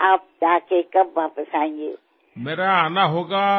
আপুনি গৈ কেতিয়া উভতি আহিব